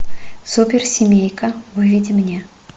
суперсемейка выведи мне